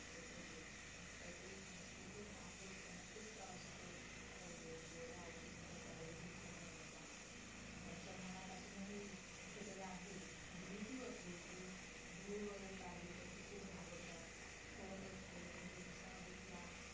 अन गोळ्या औषधींचा त्यावेळेस घेतलेल्या त्याचा त्यांच्या मनात अजूनही कुठंतरी आहे म्हणजे भीती बसलीय कि धूळ वगैरे लागली तर ते खूप घाबरतात थोडं काही खाल्लं त्यांचं घसा दुखलं